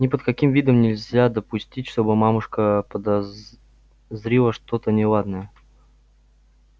ни под каким видом нельзя допустить чтобы мамушка заподозрила что-то неладное